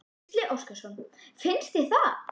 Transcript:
Gísli Óskarsson: Finnst þér það?